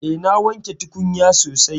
Eh na wanke tukunya sosai.